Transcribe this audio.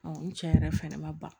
ni cɛ yɛrɛ fɛnɛ ma ban